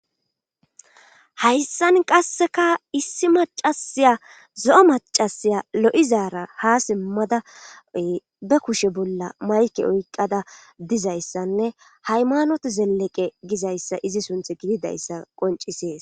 hayssan qasseka issi macasiya zo7o macasiya lo7izaara ha simmada be kushe bolla mayke oyqqada dizayssanne haymanot zeleqe gizayssa izi sunthi gididayssa qoncisees.